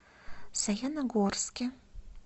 саяногорске